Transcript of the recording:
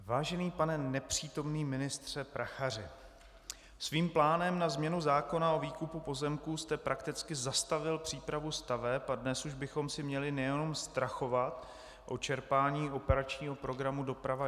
Vážený pane nepřítomný ministře Prachaři, svým plánem na změnu zákona o výkupu pozemků jste prakticky zastavil přípravu staveb a dnes už bychom se měli nejenom strachovat o čerpání operačního programu Doprava